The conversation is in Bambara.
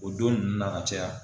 O don nunnu na ka caya.